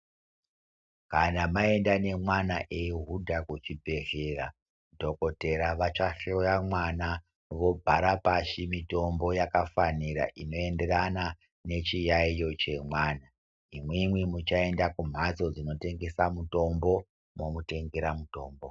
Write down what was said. Kana mayenda nemwana ehuda kuchibhedhlera, dhokodhera vachahloya mwana. Vobhara pashi mitombo yakafanira inoyenderana nechiyayiyo chemwana. Imwimwi muchayenda kumhatso dzinotengesa mutombo, momutengera mutombo.